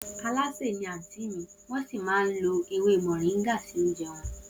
Oùnsè ni àtìn ḿi, won si maà ń lò èwé moringa si ounjẹ won